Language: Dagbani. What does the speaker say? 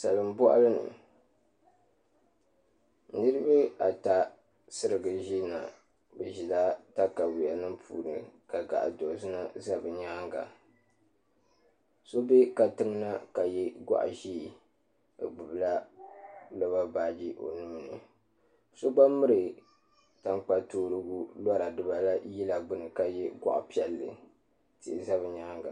Salin boɣali ni niraba ata sirigi ʒina bi ʒila katawiya nim puuni ka gaɣa dozima ʒɛ bi nyaanga so bɛ katiŋ na ka yɛ goɣa ʒiɛ o gbubila loba baaji o nuuni so gba miri tankpa toorigu lora dibaayi la ka yɛ goɣa piɛlli tihi ʒɛ bi nyaanga